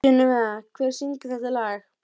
Fæturnir höfðu ekkert lengst, aðeins kreppst.